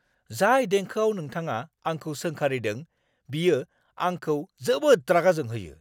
जाय देंखोआव नोंथाङा आंखौ सोंखारिदों, बियो आंखौ जोबोद राग जोंहोयो।